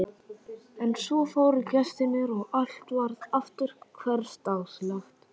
En svo fóru gestirnir og allt varð aftur hversdagslegt.